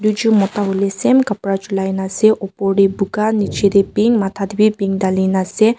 duijont Mota hoile same kapara julai na ase opor te boga niche te pink matha te bhi pink Dale na ase.